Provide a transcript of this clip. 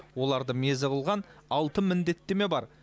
оларды мезі қылған алты міндеттеме бар